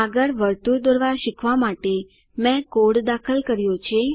આગળ વર્તુળ દોરવા શીખવા માટે મેં કોડ દાખલ કર્યો છે